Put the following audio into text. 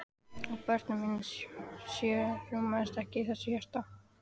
Og börnin mín sjö rúmast ekki í þessu hjarta.